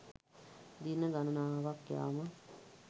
දින ගණනාවක් යාම